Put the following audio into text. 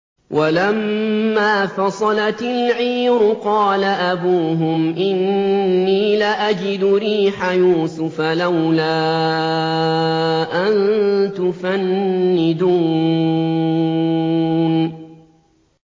وَلَمَّا فَصَلَتِ الْعِيرُ قَالَ أَبُوهُمْ إِنِّي لَأَجِدُ رِيحَ يُوسُفَ ۖ لَوْلَا أَن تُفَنِّدُونِ